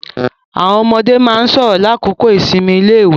Àwọn ọmọde máa ń sọ̀rọ̀ ní àkókò ìsinmi iléèwé.